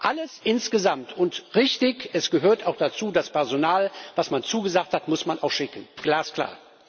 Alles insgesamt und richtig, es gehört auch dazu Das Personal, was man zugesagt hat, muss man auch schicken glasklar.